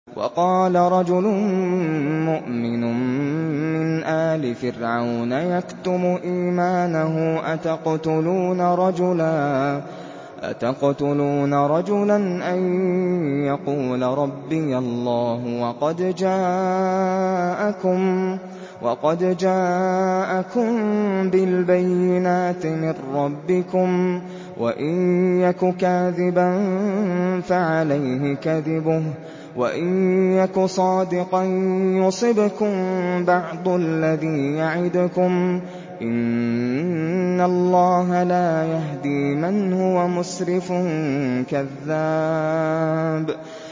وَقَالَ رَجُلٌ مُّؤْمِنٌ مِّنْ آلِ فِرْعَوْنَ يَكْتُمُ إِيمَانَهُ أَتَقْتُلُونَ رَجُلًا أَن يَقُولَ رَبِّيَ اللَّهُ وَقَدْ جَاءَكُم بِالْبَيِّنَاتِ مِن رَّبِّكُمْ ۖ وَإِن يَكُ كَاذِبًا فَعَلَيْهِ كَذِبُهُ ۖ وَإِن يَكُ صَادِقًا يُصِبْكُم بَعْضُ الَّذِي يَعِدُكُمْ ۖ إِنَّ اللَّهَ لَا يَهْدِي مَنْ هُوَ مُسْرِفٌ كَذَّابٌ